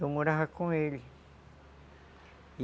Eu morava com ele.